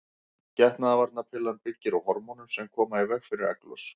Getnaðarvarnarpillan byggir á hormónum sem koma í veg fyrir egglos.